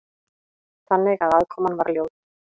Þannig að aðkoman var ljót.